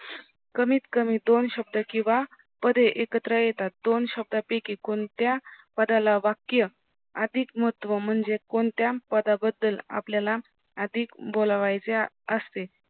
कमीत कमी दोन शब्द किव्हा पदे एकत्र येतात दोन शब्द पैकी कोणत्या पदाला वाक्य अधिक महत्व म्हणजे कोणत्या पदाबद्दल आपल्याला अधिक बोलवायचे असते